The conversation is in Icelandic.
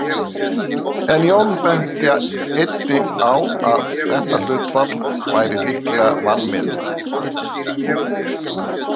En Jón benti einnig á að þetta hlutfall væri líklega vanmetið.